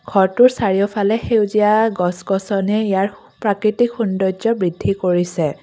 ঘৰটোৰ চাৰিওফালে সেউজীয়া গছ গছনিয়ে ইয়াৰ প্ৰাকৃতিক সৌন্দৰ্য্য বৃদ্ধি কৰিছে।